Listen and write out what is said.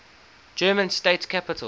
german state capitals